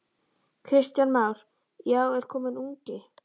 Kristján Már: Já, er kominn ungi?